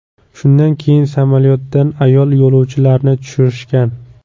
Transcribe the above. Shundan keyin samolyotdan ayol yo‘lovchilarni tushirishgan.